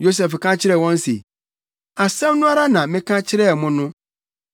Yosef ka kyerɛɛ wɔn se, “Asɛm no ara na meka kyerɛɛ mo no: Moyɛ akwansrafo!